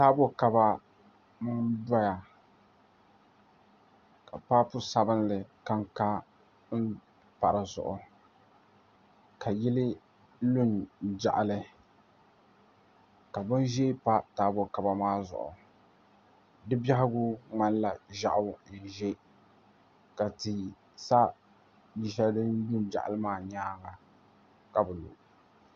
Taabo kaba n doya ka paapu sabinli kanka n pa dizuɣu ka yili lu n jaɣali ka bin ʒiɛ pa taabo kaba maa zuɣu di biɛhagu ŋmanila ʒiɛɣu ni yi ʒɛ ka tia sa yili shɛli din jaɣaligi maa nyaanga ka bi